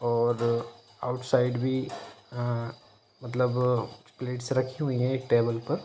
और outside भी अ-अ-अ मतलब प्लेट्स रखी हुई हैं एक टेबल पर --